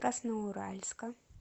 красноуральска